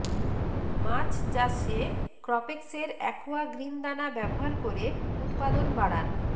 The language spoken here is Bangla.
মাছ চাষে ক্রপেক্সের অ্যাকোয়া গ্রিন দানা ব্যবহার করে উৎপাদন বাড়ান